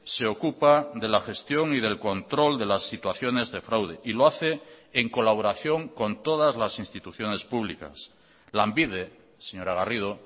se ocupa de la gestión y del control de las situaciones de fraude y lo hace en colaboración con todas las instituciones públicas lanbide señora garrido